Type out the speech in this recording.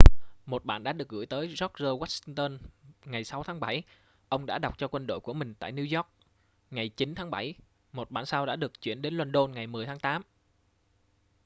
một bản đã được gửi tới george washington ngày 6 tháng 7 ông đã đọc cho quân đội của mình tại new york ngày 9 tháng 7 một bản sao đã được chuyển đến luân đôn ngày 10 tháng 8